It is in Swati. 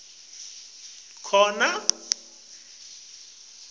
kungenteka kube khona